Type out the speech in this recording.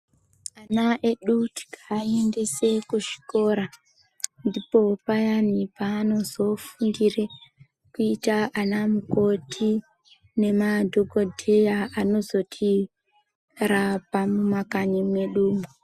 Ana edu tikaaendese kuzvikora ,ndipo payani paanozofundire kuita anamukoti, nemadhokodheya anozotirapa mumakanyi mwedumwo.